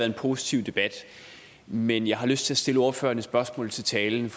en positiv debat men jeg har lyst til at stille ordføreren et spørgsmål til talen